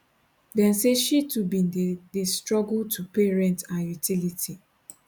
dem say she too bin dey dey struggle to pay rent and utility